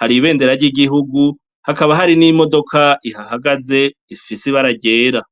hari ibendera ryigihugu hakaba hari n'imodoka ihahagaze ifise ibara ryera.